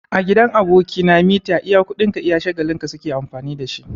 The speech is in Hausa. A gidan aboki na, mita iya kuɗin ka iya shagalin ka su ke amfani da shi.